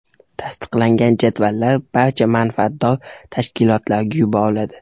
Tasdiqlangan jadvallar barcha manfaatdor tashkilotlarga yuboriladi.